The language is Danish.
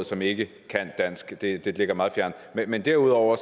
som ikke kan dansk ind i det ligger meget fjernt men derudover